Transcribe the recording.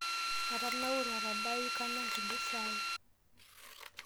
Atanaure atadaayu kanya nkulie saai.